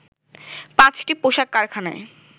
৫টি পোশাক কারখানায়